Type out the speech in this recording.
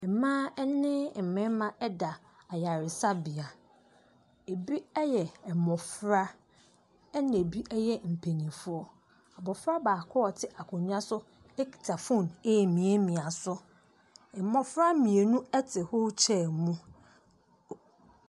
Mmaa ne mmɛma ɛda ayaresabea. Ebi eyɛ mmofra, ɛna ebi ɛyɛ mpanyinfoɔ. Mmofra baako a ɔte akonya so akita fon emmie mia so. Mmofra mmienu ɛte wheel chair mu.